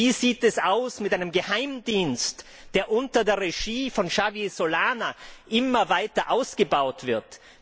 Wie sieht es aus mit einem Geheimdienst, der unter der Regie von Javier Solana immer weiter ausgebaut wird?